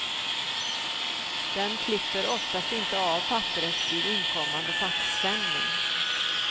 Den klipper oftast inte av papperet vid inkommande faxsändning.